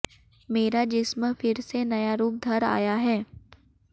मेरा जिस्म फिर से नया रूप धर आया है